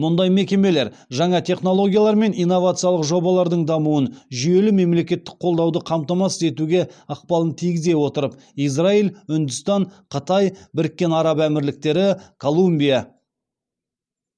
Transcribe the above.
мұндай мекемелер жаңа технологиялар мен инновациялық жобалардың дамуын жүйелі мемлекеттік қолдауды қамтамасыз етуге ықпалын тигізе отырып израиль үндістан қытай біріккен араб әмірліктері колумбия